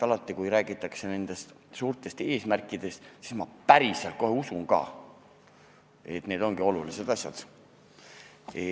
Alati, kui räägitakse suurtest eesmärkidest, siis ma kohe usun, et need ongi olulised asjad.